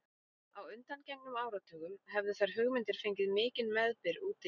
Á undangengnum áratugum hefðu þær hugmyndir fengið mikinn meðbyr úti í